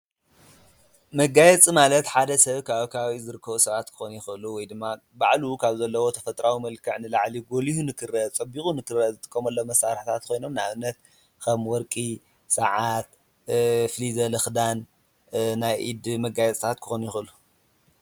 መጋየፂ ማለት ሓደ ሰብ ካብ ከባቢ ዝርከብ ሰባት ክኮኑ ይክእሉ ወይ ድማ ባዕሉ ካብ ዘለዎ ተፈጥሮ መልክ፣ ፍልይ ዝበለ ክዳን፣ ናይ ኢድ መጋየፂታት ክኮኑ ይክእሉ፡፡